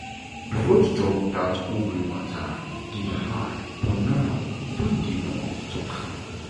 before to talk that ovary matter dey hard but now e don dey normal to talk am.